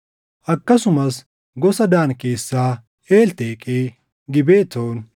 Akkasumas gosa Daan keessaa Elteqee, Gibetoon,